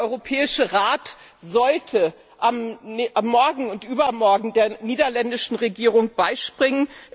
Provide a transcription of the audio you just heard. Der Europäische Rat sollte morgen und übermorgen der niederländischen Regierung beispringen.